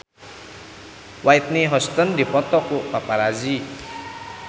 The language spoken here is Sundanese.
Whitney Houston dipoto ku paparazi